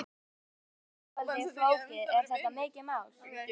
Lillý: Þetta hljómar svolítið flókið, er þetta mikið mál?